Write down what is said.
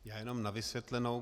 Já jenom na vysvětlenou.